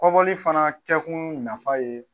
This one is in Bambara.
Kɔbɔli fana kɛkun nafa ye